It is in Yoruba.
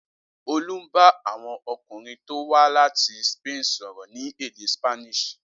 Olú bá àwọn ọkùnrin tó wá láti Spain sọ̀rọ̀ ní èdè Spanish.